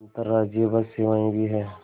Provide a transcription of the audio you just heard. अंतर्राज्यीय बस सेवाएँ भी हैं